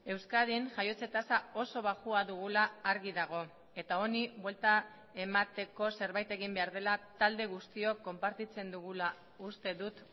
euskadin jaiotze tasa oso baxua dugula argi dago eta honi buelta emateko zerbait egin behar dela talde guztiok konpartitzen dugula uste dut